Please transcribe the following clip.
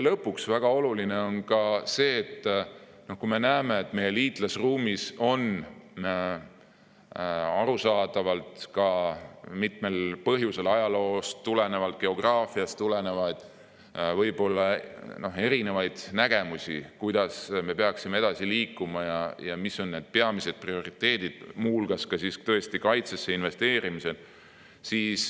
Lõpuks on väga oluline ka see, et meie liitlasruumis võib arusaadavalt mitmel põhjusel, ajaloost või geograafiast tulenevalt, olla erinevaid nägemusi, kuidas me peaksime edasi liikuma ja mis on peamised prioriteedid, muu hulgas tõesti kaitsesse investeerimine.